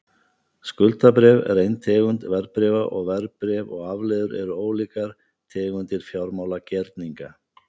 Skuldabréf er ein tegund verðbréfa, og verðbréf og afleiður eru ólíkar tegundir fjármálagerninga.